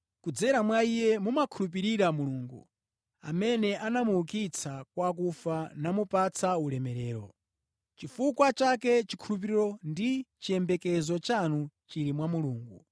Kudzera mwa Iye mumakhulupirira Mulungu, amene anamuukitsa kwa akufa namupatsa ulemerero. Nʼchifukwa chake chikhulupiriro ndi chiyembekezo chanu chili mwa Mulungu.